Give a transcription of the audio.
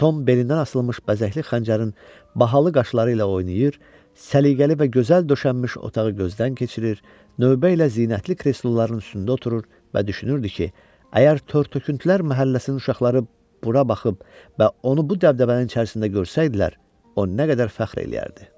Tom belindən asılmış bəzəkli xəncərin bahalı qaşları ilə oynayır, səliqəli və gözəl döşənmiş otağı gözdən keçirir, növbə ilə zinətli kresloların üstündə oturur və düşünürdü ki, əgər tör-töküntülər məhəlləsinin uşaqları bura baxıb və onu bu dəbdəbənin içərisində görsəydilər, o nə qədər fəxr eləyərdi.